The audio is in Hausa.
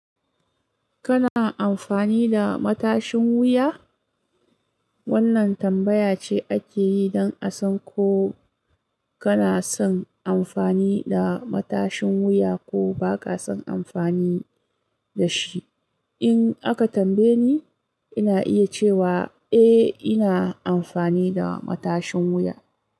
Kana amfani da matashin wuya? Wannan tambaya ce ake yi don a san ko kana son amfani da matashin wuya ko ba ka son amfani da shi. In aka tambaye ni, ina iya cewa eh ina amfani da matashin wuya.